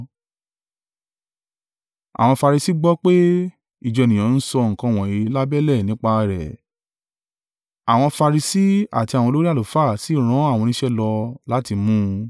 Àwọn Farisi gbọ́ pé, ìjọ ènìyàn ń sọ nǹkan wọ̀nyí lábẹ́lẹ̀ nípa rẹ̀; àwọn Farisi àti àwọn olórí àlùfáà sì rán àwọn oníṣẹ́ lọ láti mú un.